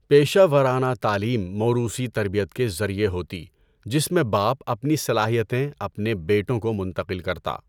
پیشہ ورانہ تعلیم موروثی تربیت کے ذریعے ہوتی جس میں باپ اپنی صلاحیتیں اپنے بیٹوں کو منتقل کرتا۔